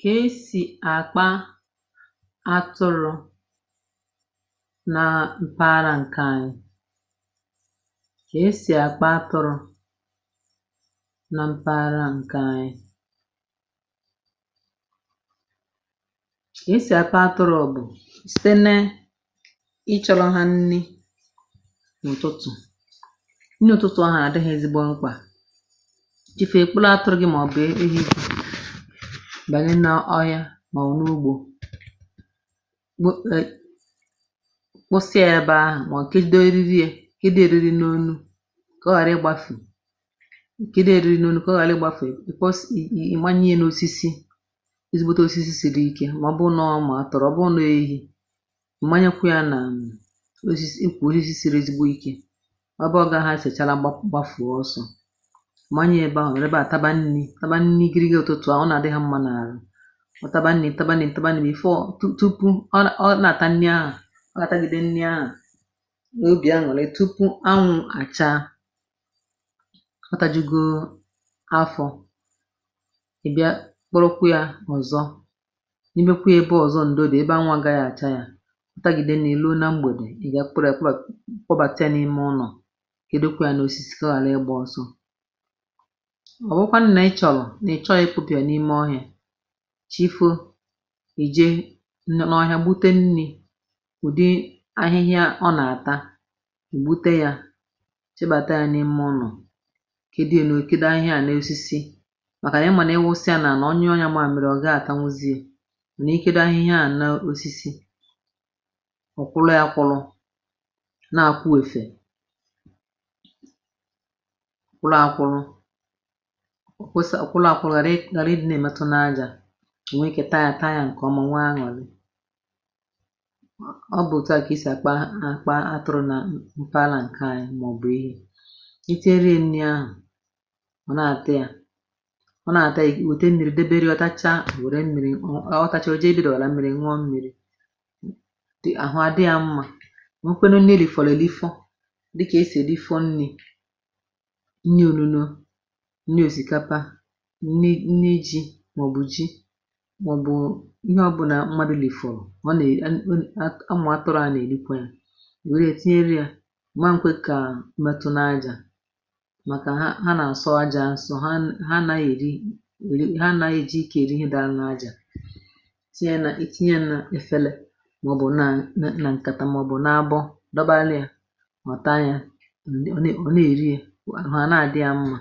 Ka e si akpa atụrụ na mpaghara nke anyị. Ka esi akpá atụrụ na mpaghara nke anyị. Ka esi akpá atụrụ bụ site ne ịchọrọ ha nni n'ụtụtụ. Nni ụtụtụ ahụ na-adị ha ezigbo mkpa. Chi foo ị kpọrọ atụrụ gị maọbụ ehi banye na ọhịa maọbụ n'ugbo wụsa ya ebe ahụ maọbụ kedo eriri ya kedo ya eriri n'onu ka ọ ghara ịgbafu kedo ya eriri n'onu ka ọ ghara ịgbafu ị̀ manyie n'osisi ezigbote osisi siri ike ma ọ bụrụ na ọ ụmụ atụrụ. Ọ bụrụ na ọ ehi, ịmanyekwee na osisi ukwu osisi siri ezigbo ike ebe ọ gaghị esechara gba gbafuo ọsọ manyie ebe ahụ ọ nọrọ ebe a taba nni taba nni igirigi ụtụtụ ahụ. Ọ na-adị ha mma n'arụ. Ọ taba nni taba nni taba nni taba nni before tu tupu ọ ọ nagata nni aa ọ ga-atagide nni aa n'obi aṅụlị tupu anwụ a chaa ọ tajugo afọ. Ị bịa kpọrọkwa ya ọzọ, nyibekwịa ebe ọzọ ndo dị ebe anwụ agaghị acha ya. Ọ tagide nni luo na mgbede, ị bịa kpọbakwa ya kpọbatịe n'ime ụnọ kedo e n'osisi ka ọ ghalị ịgba ọsọ. Ọ wụrụkwanụ na ị chọrọ na ị chọghị ịkpụpụ ya n'ime ọhịa, chi foo i jee n n'ọhịa gbute nni, udi ahịhịa ọ na-ata ị gbute ya chịbata ya n'ime ụ́nọ̀, kedo ya no kedo ahịhịa a n'osisi makana ị ma na-ịwụsa ya n'ala ọ nyụọ ya mamịrị ọ gaghị atanwuzi ya mana ikedo ahịhịa ahụ n'osisi, ọ kwụlụ akwụlụ nna-akwụ ìfè, kwụlụ akwụlụ ghalị ghalị ịdị na-emetụ n'aja. Ị taaa ya taa nke ọma nwee aṅụlị. Ọ ọ bụ otu a ka esi akpa a akpa atụrụ na m mpaghara nke anyị maọbụ ehi. I tinyere ya nni ahụ ọ na-ata ya. Ọ na-ata ya i wete mmiri debere ya. Ọ tachaa o were mmiri ọ o jee ebe idebere mmiri ṅụọ mmiri, ahụ a dị ya mma. O nwekwanụ nni e lifọlọ elifọ dịka e si elifọ nni, nni onuno, nni osikapa, nni nni ji maọbụ ji maọbụ ihe ọbụla mmadụ lifọrọ ọ ne a e ụmụ atụrụ ahụ na-erikwa ya. A man kwe ka ọ metụ n'ájá makana ha na-asọ aja asọ ha n ha anaghị ekwe m ha anaghị eji ike eri ihe dara n'aja. Tinyere itinye e na efele maọbụ na nna nkata maọbụ n'ábọ́ dọbaalịa ọ taa ya. Ọ ọ na-eri ya, ahụ a na-adị ya mma.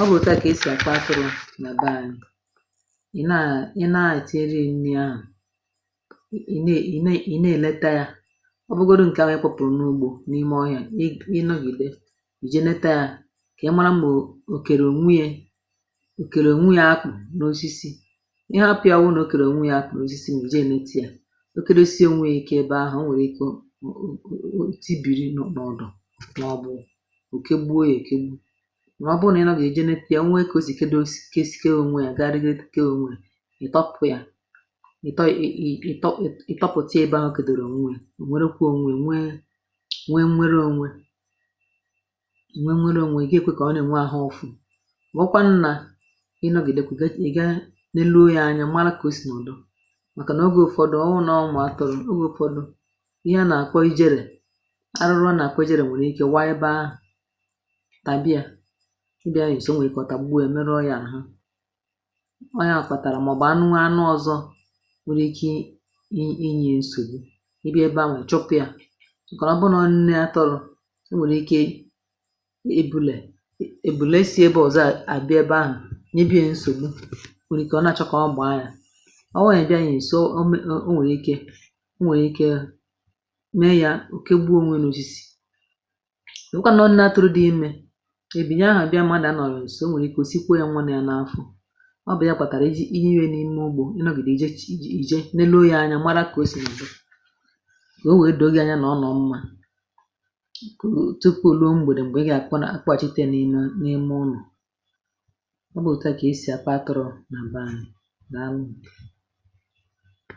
Ọ bụ otu a ka e si akpa atụrụ na be anyị. Ị naa ị na-etinyere ya mmiri ahụ ị ne ị ne ị na-eleta ya. Ọ bụrụgodị nke ahụ ị kpọpụrụ n'ugbo n'ime ọhịa, ịnọgide i jee leta ya ka ị mara ma o kere onwe ya o kere onwe ya n'osisi. Ị hapụ ya ọ bụrụ na o kere onwe ya n'osisi ma i jee nete ya, o kedosie onwe ya ike ebe ahụ, o o nwee ike o o o o otibiri n'ọdụ maọbụ o kegbuo ya ekegbu. Mana ọ bụrụ na ịnọgide i jee nete ya o nwee ka o si kedo kesikọọ onwe gagharịgide kee onwe ya, ịtọpụkwa ya. Ị tọ ị ị ị ịtọpụ ị ịtọpụta ya ebe o kedoro onwe ya, o nwerekwa onwe ya. Nwee nwee nnwereonwe nwee nnwereonwe. Ị gee ekwe ka ọ na-enwe ahụ ụfụ. Wụrụkwanụ na ịnọgidekwa ị ga ị ga neluo ya anya mara ko osi nọdụ. Makana oge ụfọdụ ọ wụrụ na ọọ ụmụ atụrụ oge ụfọdụ ihe a na-akpọ ijele arụrụ a na-akpọ ijele nwere ike waa ebe ahụ, taba ya o nwee ike taba ya merụọ ya ahụ. Ọ ya kpatara maọbụ e nwee anụ anụ ọzọ nwere ike i i nye ya nsogbu, igaa ebe anwa ịchụpụ ya makana ọ bụrụ na ọ nne atụrụ, i nwere ike e ebule ebule si ebe ọzọ a bịa ebe ahụ nyebie nsogbu, o nwere ike ọ na-achọ ka ọ gbàá ya. Ọ bụrụ na ị bịaghị nso o o nwee ike o nwee ike mee ya o kegbuo onwe ya n'osisi. Ọ bụrụ kwa nọọ nne atụrụ dị ime, ebule ahụ bịa mmadụ anọghị nso o nwere ike osipu ya nwa nọ ya n'afọ. Ọ bụ ya kpatara e ji ihere n'ime ugbo ịnọgide i jee neruo ya anya mara ka o si nọdụ ka o wee doo gị anya tupu o ruo mgbede mgbe ị ga-akpọchite ya n'ime ụ́nọ̀. Ọ kwa etu a ka esi a kpa atụrụ na be anyị. Daalụ.